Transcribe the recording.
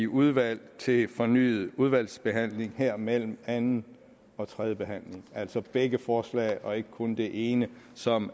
udvalget til fornyet udvalgsbehandling her mellem anden og tredje behandling altså begge forslag og ikke kun det ene som